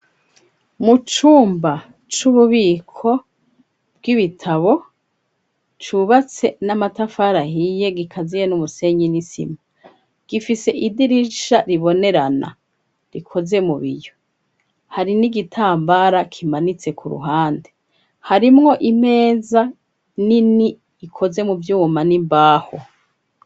Mu cumba c'ububiko bw'ibitabo cubatse n'amatafari ahiye gikaziye n'umusenyi n'isima, gifise idirisha ribonerana rikoze mu biyo, hari n'igitambara kimanitse ku ruhande, harimwo imeza nini ikoze mu vyuma n'imbaho.